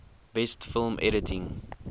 best film editing